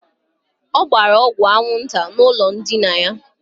Ọ gbara ọgwụ anwụnta n' ụlọ ndina ya.